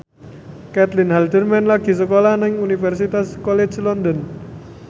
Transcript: Caitlin Halderman lagi sekolah nang Universitas College London